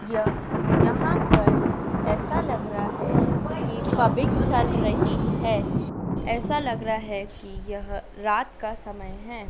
यहां पर ऐसा लग रहा है कि पबिंग चल रही है। ऐसा लग रहा है कि यह रात का समय है।